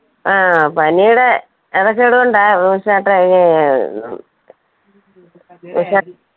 ആ, പനീടെ കൊണ്ടാ